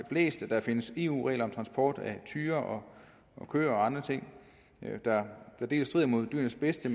blæst at der findes eu regler om transport af tyre og køer og andre ting der dels strider imod dyrenes bedste